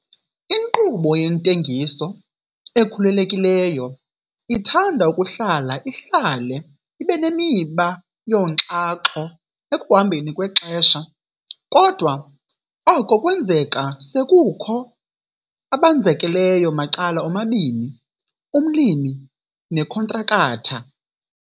Inkqubo yentengiso ekhululekileyo ithanda ukuhlala ihlale ibe nemiba yonxaxho ekuhambeni kwexesha, kodwa oko kwenzeka sekukho abenzakeleyo macala omabini - umlimi nekhontrakatha.